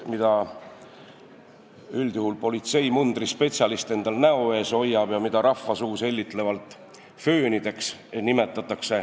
Neid hoiab üldjuhul politseimundris spetsialist endal näo ees ja rahvasuus nimetatakse neid hellitlevalt föönideks.